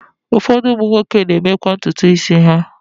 Ụfọdụ ụmụ nwoke na-emekwa ntutu isi ha.